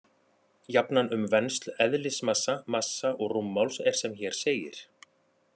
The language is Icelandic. Jafnan um vensl eðlismassa, massa og rúmmáls er sem hér segir: